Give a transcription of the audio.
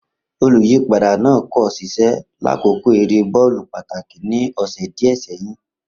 Oluyipada naa ko ṣiṣẹ lakoko ere bọọlu pataki ni ọsẹ diẹ sẹhin.